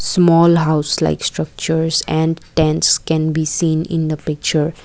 small house like structures and tents can be seen in the picture.